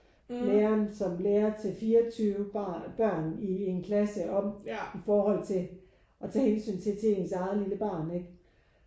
Læreren som lærer til 24 børn i en klasse om i forhold til at tage hensyn til ens eget lille barn ikke?